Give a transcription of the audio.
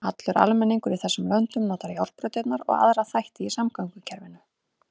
Allur almenningur í þessum löndum notar járnbrautirnar og aðra þætti í samgöngukerfinu.